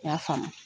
I y'a faamu